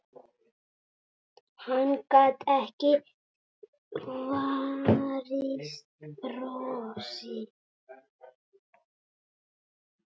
Hann gat ekki varist brosi.